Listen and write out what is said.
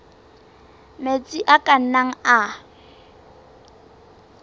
metsi a ka nnang a